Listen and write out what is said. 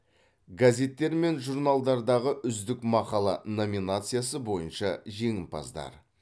газеттер мен журналдардағы үздік мақала номинациясы бойынша жеңімпаздар